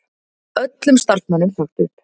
Öllum starfsmönnum sagt upp